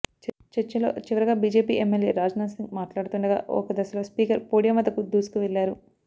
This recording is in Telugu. చర్చలో చివరగా బీజేపీ ఎమ్మెల్యే రాజాసింగ్ మాట్లాడుతుండగా ఒక దశలో స్పీకర్ పోడియం వద్దకు దూసుకువెళ్లారు